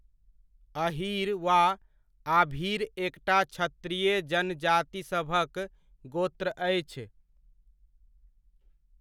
अहीर वा आभीर एकटा क्षत्रिय जनजातिसभक गोत्र अछि।